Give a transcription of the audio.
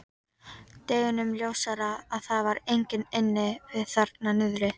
Deginum ljósara að það var enginn inni við þarna niðri.